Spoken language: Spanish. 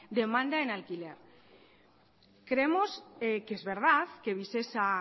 demanda en alquiler creemos que es verdad que visesa